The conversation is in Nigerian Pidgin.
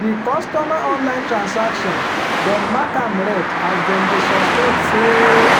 di customer online transaction dem mark am red as dem dey suspect say